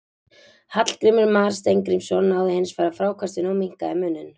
Hallgrímur Mar Steingrímsson náði hins vegar frákastinu og minnkaði muninn.